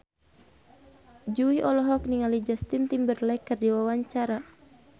Jui olohok ningali Justin Timberlake keur diwawancara